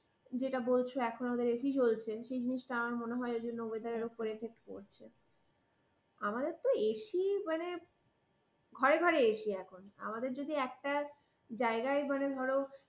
যেটা বলছো এখনো ওদের ac চলছে। সেই জিনিসটা আমার মনে হয় এজন্য ওদের weather এর ওপর effect পড়ছে। আমাদের তো ac মানে ঘরে ঘরে ac এখন। আমাদের যদি একটা জায়গায় ধরো